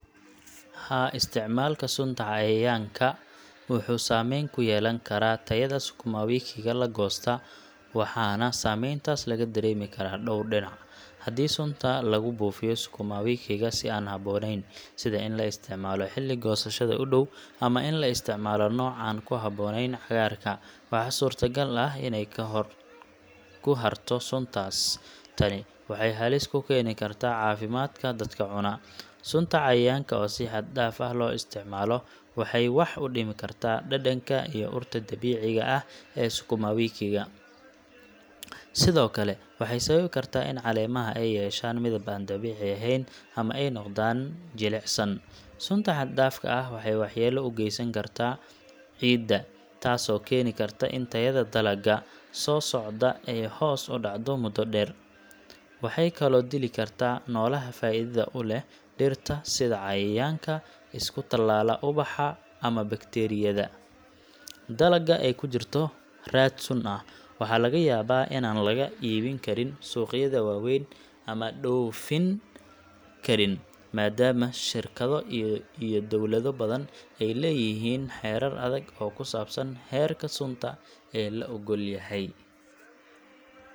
Haa, isticmaalka sunta cayayaanka wuxuu saameyn ku yeelan karaa tayada sukumowikiga la goosta, waxaana saameyntaas laga dareemi karaa dhowr dhinac: Haddii sunta lagu buufiyo sukumowikiga si aan habboonayn – sida in la isticmaalo xilli goosashada u dhow ama in la isticmaalo nooc aan ku habboonayn cagaarka – waxaa suurtagal ah inay ku harto suntaas . Tani waxay halis ku keeni kartaa caafimaadka dadka cuna. Sunta cayayaanka oo si xad dhaaf ah loo isticmaalo waxay wax u dhimi kartaa dhadhanka iyo urta dabiiciga ah ee sukumowikiga. Sidoo kale, waxay sababi kartaa in caleemaha ay yeeshaan midab aan dabiici ahayn ama ay noqdaan jilicsan. Sunta xad dhaafka ah waxay waxyeello u geysan kartaa ciidda, taasoo keeni karta in tayada dalagga sukumowikiga soo socda ay hoos u dhacdo muddo dheer. Waxay kaloo dili kartaa noolaha faa'iidada u leh dhirta sida cayayaanka isku tallaala ubaxa ama bakteeriyada wanaagga u leh ciidda. Dalagga ay ku jirto raad sun ah waxaa laga yaabaa inaan laga iibin karin suuqyada waaweyn ama dhoofin karin, maadaama shirkado iyo dowlado badan ay leeyihiin xeerar adag oo ku saabsan heerka sunta ee la oggol yahay.